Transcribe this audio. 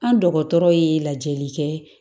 An dɔgɔtɔrɔ ye lajɛli kɛ